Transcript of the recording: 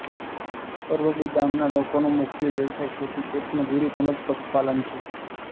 પરવડી ગામના લોકોનો મુખ્ય વ્યવસાય ખેતી ખેતમજૂરી તેમ જ પશુપાલન છે